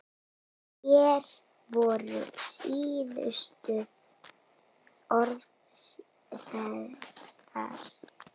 Hver voru síðustu orð Sesars?